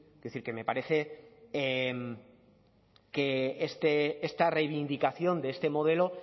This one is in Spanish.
quiero decir que me parece que esta reivindicación de este modelo